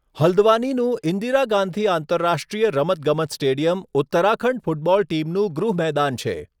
હલ્દવાનીનું ઇન્દિરા ગાંધી આંતરરાષ્ટ્રીય રમતગમત stadium Uttarakhand football ટીમનું ગૃહ મેદાન છે.